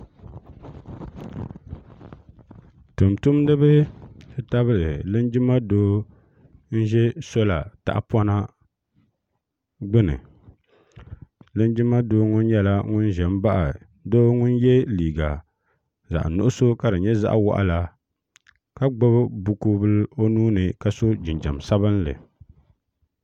tumtumdiba ti tabili linjima Doo n ʒɛ soola tahapona gbuni linjima doo ŋɔ nyɛla ŋun ʒɛ n baɣa doo ŋun yɛ liiga zaɣ nuɣso ka di nyɛ zaɣ waɣala ka gbubi buku bili o nuuni ka so jinjɛm sabinli